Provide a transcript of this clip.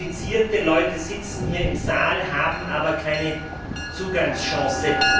Qualifizierte Leute sitzen hier im Saal, haben aber keine Zugangschancen.